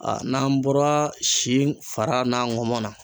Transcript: Aa n'an bɔra si fara n'an ŋɔmɔn na